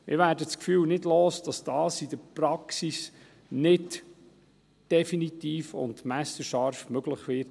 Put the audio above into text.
Wir werden das Gefühl nicht los, dass dies in der Praxis nicht definitiv und messerscharf möglich sein wird.